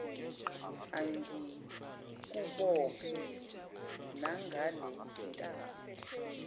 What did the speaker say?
angikubophe nangale ntambo